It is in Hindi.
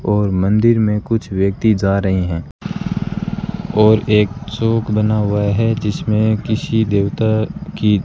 और मंदिर में कुछ व्यक्ति जा रहे हैं और एक चौक बना हुआ है जिसमें किसी देवता की--